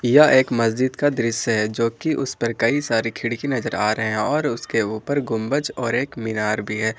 यह एक मस्जिद का दृश्य है जो कि उस पर कई सारी खिड़की नजर आ रहे हैं और उसके ऊपर गुंबज और एक मीनार भी है।